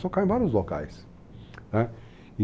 Tocou em vários locais e,